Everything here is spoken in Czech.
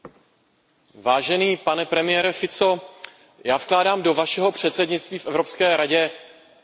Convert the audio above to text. Vážený pane premiére Fico, já vkládám do vašeho předsednictví v Evropské radě naděje.